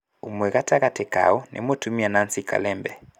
ũmwe gatagatĩ kao nĩ mũtumia Nancy Kalembe.